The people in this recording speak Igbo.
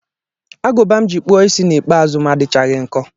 Agụba m ji kpụọ isi ikpeazụ m adịchaghị nkọ